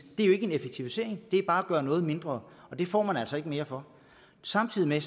ikke en effektivisering det er bare at gøre noget mindre og det får man altså ikke mere for samtidig